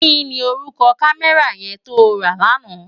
Ki ni órúkò kámèrá yèn tó rá làná?